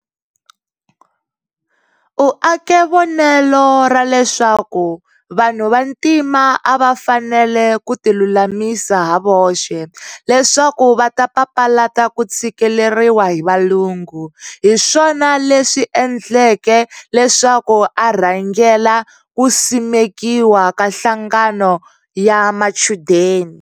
U ake vonelo raleswaku, vanhu vantima ava fanele kutilulamisa havoxe, leswaku vata papalata kutshikeleriwa hi valungu, hiswona leswi endleke leswaku a rhangela kusimekiwa ka nhlangano ya machudeni.